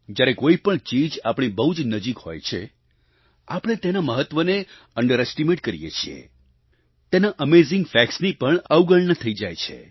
જ્યારે કોઈ પણ ચીજ આપણી બહુ જ નજીક હોય છે આપણે તેના મહત્વને અંડરેસ્ટિમેટ કરીએ છીએ તેના એમેઝિંગ ફેક્ટ્સ ની પણ અવગણના થઈ જાય છે